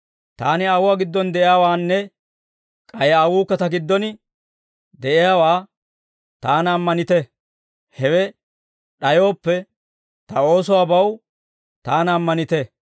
Taani Aawuwaa giddon de'iyaawaanne k'ay Aawukka Ta giddon de'iyaawaa Taana ammanite; hewe d'ayooppe, Ta oosuwaabaw Taana ammanite.